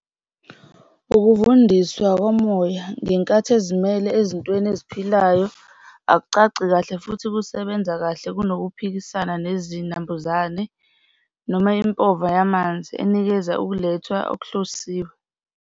Ukuvundiswa komoya ngenkathi ezimele ezintweni eziphilayo akucace kahle futhi kusebenza kahle kunokuphikisaa nezinambuzane noma impova yamanzi enikeza ukulethwa okuhlosiwe.